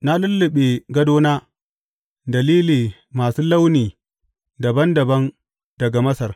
Na lulluɓe gadona da lili masu launi dabam dabam daga Masar.